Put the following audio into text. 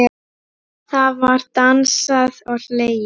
Það var dansað og hlegið.